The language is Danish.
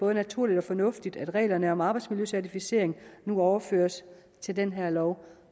er naturligt og fornuftigt at reglerne om arbejdsmiljøcertificering nu overføres til den her lov